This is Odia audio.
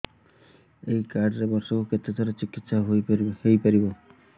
ଏଇ କାର୍ଡ ରେ ବର୍ଷକୁ କେତେ ଥର ଚିକିତ୍ସା ହେଇପାରିବ